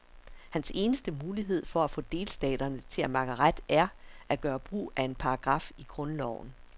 Hans eneste mulighed for at få delstaterne til at makke ret er, at gøre brug af en paragraf i grundloven.